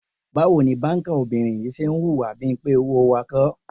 Báwo ni báńkà obìnrin yìí ṣe ń hùwà bí i pé owó wa kọ́?